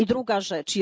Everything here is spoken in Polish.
I druga rzecz.